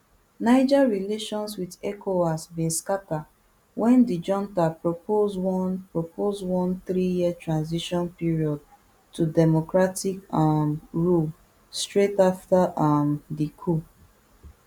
niger relations wit ecowas bin scata wen di junta propose one propose one threeyear transition period to democratic um rule straight afta um di coup